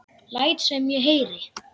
Læt sem ég heyri.